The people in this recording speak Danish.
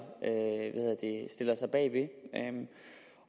sig bag